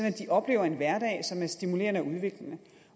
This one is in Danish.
at de oplever en hverdag som er stimulerende og udviklende